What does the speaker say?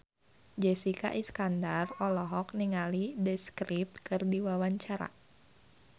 Jessica Iskandar olohok ningali The Script keur diwawancara